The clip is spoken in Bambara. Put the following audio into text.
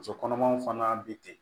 Muso kɔnɔmaw fana be ten